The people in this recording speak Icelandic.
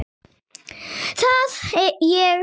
Það ég veit.